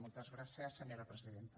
moltes gràcies senyora presidenta